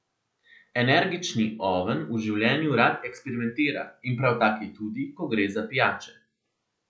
Energični oven v življenju rad eksperimentira in prav tak je tudi, ko gre za pijače.